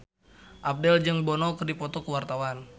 Abdel jeung Bono keur dipoto ku wartawan